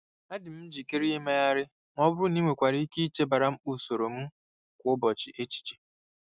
Adị m njikere imegharị ma ọ bụrụ na ị nwekwara ike ichebara mkpa usoro m kwa ụbọchị echiche.